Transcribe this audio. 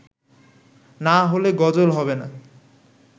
না হলে গজল হবে না